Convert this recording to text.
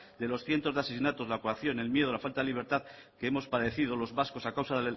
de los cientos de asesinatos la coacción el miedo la falta de libertad que hemos padecido los vascos a causa